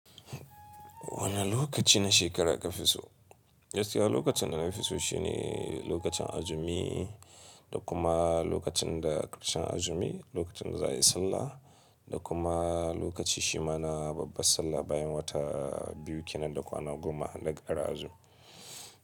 Wane lokaci na shekara ka fi so? Gaskiya lokacin da na fi so shi ne lokacin azumi da kuma lokacin da ƙarshen azumi, lokacin za a yi sallah da kuma lokaci shi ma na babbar sallah bayan wata biyu kenan da kwana goma na ƙare azumi.